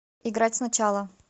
играть сначала